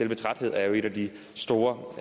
med trætheden er jo et af de store